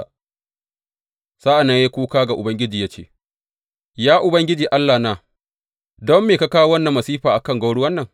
Sa’an nan ya yi kuka ga Ubangiji ya ce, Ya Ubangiji Allahna, don me ka kawo wannan masifa a kan gwauruwan nan?